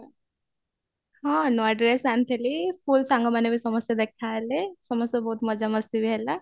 ହଁ ନୂଆ dress ଆଣିଥିଲି school ସାଙ୍ଗମାନେ ବି ସମସ୍ତେ ଦେଖା ହେଲେ ସମସ୍ତେ ବହୁତ ମଜା ମସ୍ତି ବି ହେଲା